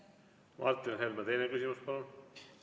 Martin Helme, teine küsimus, palun!